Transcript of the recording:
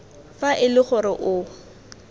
fa e le gore o